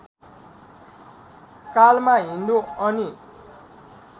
कालमा हिन्दु अनि